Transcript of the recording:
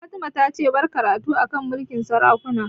Fatima ta ce 'Bar karatu a kan mulkin sarakuna'!